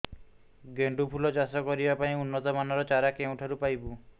ଗେଣ୍ଡୁ ଫୁଲ ଚାଷ କରିବା ପାଇଁ ଉନ୍ନତ ମାନର ଚାରା କେଉଁଠାରୁ ପାଇବୁ